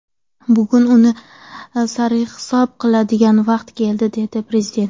Bugun uni sarhisob qiladigan vaqt keldi, – dedi Prezident.